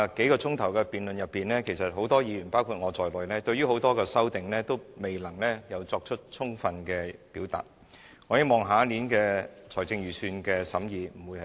在昨天數小時的辯論裏，很多議員和我對於很多修正案也未能作出充足的表述，我希望下年的財政預算案審議不會如此。